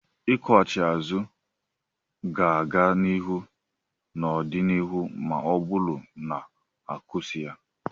Nkwughachi azụ ga-aga n'ihu n'ọdịnihu ma ọ bụrụ na ha kusii ya.